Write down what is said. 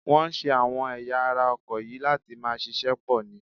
Wọ́n ṣe àwọn ẹ̀yà ara ọkọ̀ yìí láti máa ṣiṣẹ́ pọ̀ ni